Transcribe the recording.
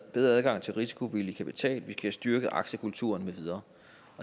bedre adgang til risikovillig kapital vi skal have styrket aktiekulturen med videre